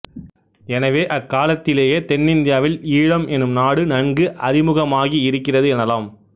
எனவே அக் காலத்திலேயே தென்னிந்தியாவில் ஈழம் எனும் நாடு நன்கு அறிமுகமாகி இருக்கிறது எனலாம்